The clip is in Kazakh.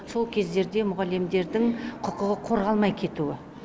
сол кездерде мұғалімдердің құқығы қорғалмай кетуі